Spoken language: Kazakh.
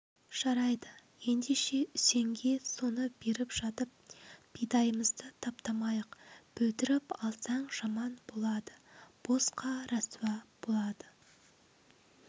жарайды ендеше үсенге соны беріп жатып бидайымызды таптамайық бұлдіріп алсаң жаман болады босқа ресуә болады